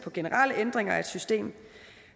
generelle ændringer af systemet